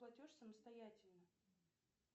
платеж самостоятельно